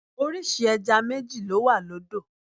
Orísìí ẹja méjì ló wà lódò.